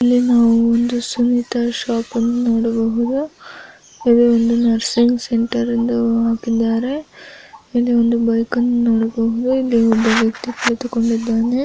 ಇಲ್ಲಿ ನಾವು ಒಂದು ಸುನೀತಾ ಶಾಪ ಅನ್ನು ನೋಡಬಹುದು ಇಲ್ಲಿ ಬಂದು ನರ್ಸಿಂಗ್ ಸೆಂಟರ್ದು ಹಾಕಿದ್ದಾರೆ ಇದು ಒಂದು ಬೈಕನ್ನು ನೋಡಬಹುದು ಇಲ್ಲಿ ಒಬ್ಬ ವ್ಯಕ್ತಿ ಕುಳಿತು ಕೊಂಡಿದ್ದಾನೆ.